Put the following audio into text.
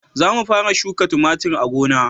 Za mu fara shuka tumatir a gona